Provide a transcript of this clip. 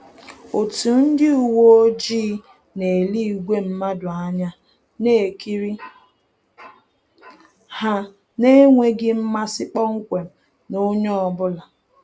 Otu ndị uweojii na-ele ìgwè mmadụ anya, na-ekiri ha n’enweghị mmasi kpọmkwem na onye ọ bụla